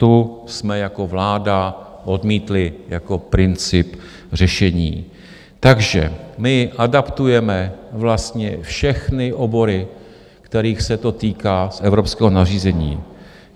Tu jsme jako vláda odmítli jako princip řešení, takže my adaptujeme vlastně všechny obory, kterých se to týká z evropského nařízení.